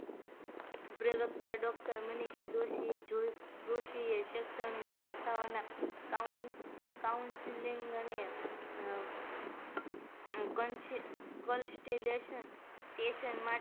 પ્રવ્કતા મનીશ દોશી એ શેક્ષણીક સંસ્થાઓ ના Counciling અને conti contillation